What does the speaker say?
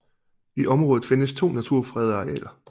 I området findes to naturfredede arealer